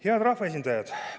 Head rahvaesindajad!